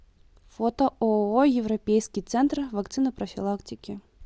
фото ооо европейский центр вакцинопрофилактики